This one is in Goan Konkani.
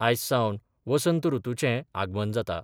आयज सावन वसंत रुतूचें आगमन जाता.